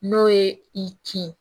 N'o ye i kin